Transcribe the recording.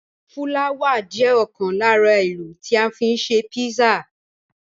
Fúláwà jẹ́ ọ̀kan lára èlò tí a fi ń ṣe písà.